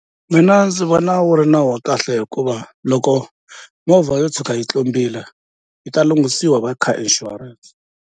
Mina ndzi vona wu ri nawu wa kahle hikuva loko movha yo tshuka yi tlumbile yi ta lunghisiwa hi va car insurance.